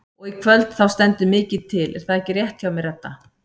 Og í kvöld þá stendur mikið til er það ekki rétt hjá mér Edda?